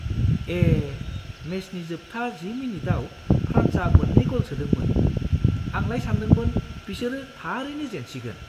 ए! मेचनि जोबथा जि मिनिटआव फ्रान्सआ मोन्नै गल सोदोंमोन। आंलाय सान्दोंमोन बिसोरो थारैनो जेनसिगोन!